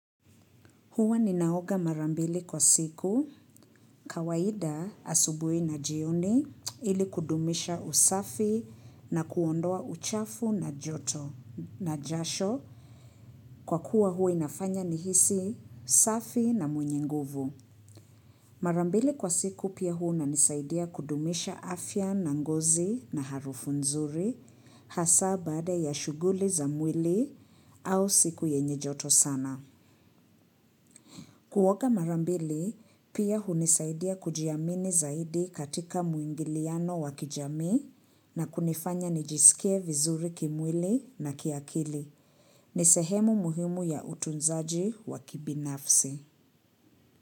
Huwa ninaoga mara mbili kwa siku kawaida asubuhi na jioni ili kudumisha usafi na kuondoa uchafu na joto na jasho kwa kuwa huwa inafanya nihisi safi na mwenye nguvu. Mara mbili kwa siku pia huwa inisaidia kudumisha afya na ngozi na harufu nzuri hasa baada ya shughuli za mwili au siku yenye joto sana. Kuoga mara mbili, pia hunisaidia kujiamini zaidi katika muingiliano wakijamii na kunifanya nijisikie vizuri kimwili na kiakili. Ni sehemu muhimu ya utunzaji wa kibinafsi.